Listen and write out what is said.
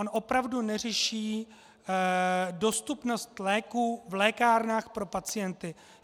On opravdu neřeší dostupnost léků v lékárnách pro pacienty.